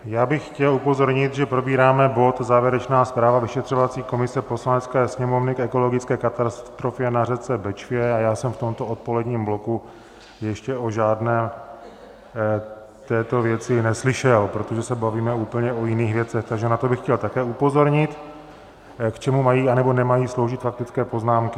Já bych chtěl upozornit, že probíráme bod Závěrečná zpráva vyšetřovací komise Poslanecké sněmovny k ekologické katastrofě na řece Bečvě, a já jsem v tomto odpoledním bloku ještě o žádné této věci neslyšel, protože se bavíme úplně o jiných věcech, takže na to bych chtěl také upozornit, k čemu mají, nebo nemají sloužit faktické poznámky.